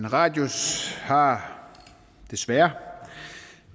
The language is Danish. radius har desværre